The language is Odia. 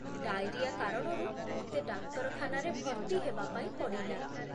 ଡାଇରିଆ କାରଣରୁ ମୋତେ ଡାକ୍ତରଖାନରେ ଭର୍ତ୍ତି ହେବା ପାଇଁ ପଡ଼ିଲା